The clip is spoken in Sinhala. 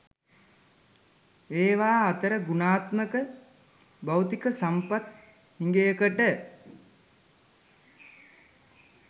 ඒවා අතර ගුණාත්මක භෞතික සම්පත් හිඟයකට